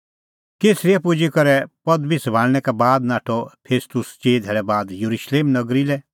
कैसरिया पुजी करै पदबी सभाल़णैं का बाद नाठअ फेस्तुस चिई धेल्लै बाद येरुशलेम नगरी लै